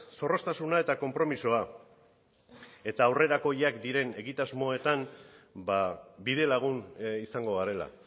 zorroztasuna eta konpromisoa eta aurrerakoiak diren egitasmoetan bidelagun izango garela